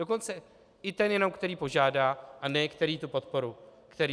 Dokonce i jenom ten, který požádá, a ne který tu podporu dostane.